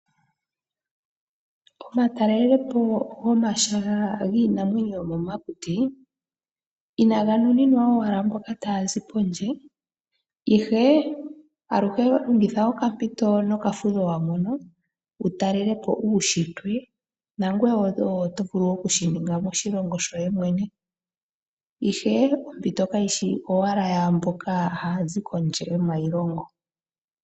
Omatalelepo gomahala nginamwenyo yo momakuti inanga nuninwa owala mboka tazi kondje, ihe aluhe longitha okampito nokafudho wamono wutalele po uushitwe nangweye oto vulu wo oku shininga moshilongo shoye mwene, ihe ompito Kayishi owala yamboka hayazi kondje yomayilongo.